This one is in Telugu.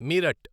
మీరట్